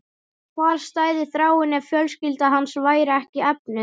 Hvar stæði Þráinn ef fjölskylda hans væri ekki efnuð?